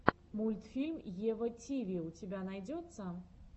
мультфильм ева тиви у тебя найдется